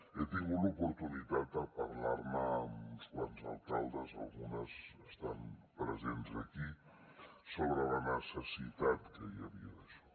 he tingut l’oportunitat de parlar ne amb uns quants alcaldes algunes estan presents aquí sobre la necessitat que hi havia d’això